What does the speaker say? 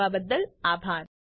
જોડાવા બદ્દલ આભાર